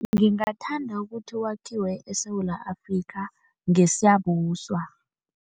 Ngingathanda ukuthi wakhiwe eSewula Afrika ngeSiyabuswa.